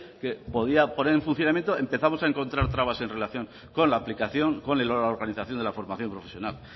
que podía poner en funcionamiento empezamos a encontrar trabas en relación con la aplicación con la organización de la formación profesional